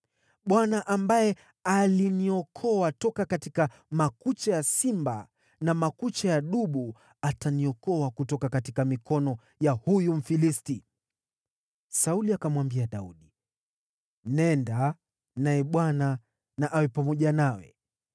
Bwana ambaye aliniokoa toka katika makucha ya simba na makucha ya dubu ataniokoa kutoka mikono ya huyu Mfilisti.” Sauli akamwambia Daudi, “Nenda, naye Bwana na awe pamoja nawe.”